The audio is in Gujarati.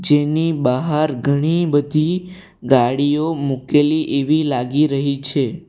જેની બહાર ઘણી બધી ગાડીઓ મૂકેલી એવી લાગી રહી છે.